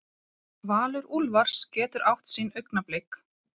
Valur Úlfars getur átt sín augnablik